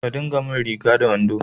Ka dinka mun riga da wando